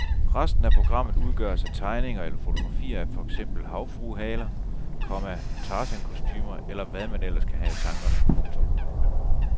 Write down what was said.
Resten af programmet udgøres af tegninger eller fotografier af for eksempel havfruehaler, komma tarzankostumer eller hvad man ellers kan have i tankerne. punktum